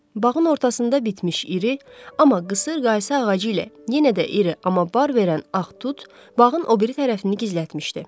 Bağın ortasında bitmiş iri, amma qısır qaysı ağacı ilə yenə də iri, amma bar verən ağ tut bağın o biri tərəfini gizlətmişdi.